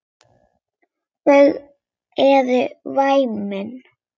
Þau eru væmin.